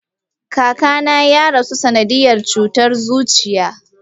Kakana ya rasu a sanadiyan cutar zuciya.